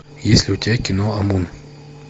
есть ли у тебя кино амун